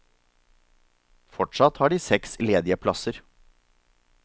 Fortsatt har de seks ledige plasser.